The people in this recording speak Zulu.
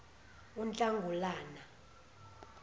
unhlangulana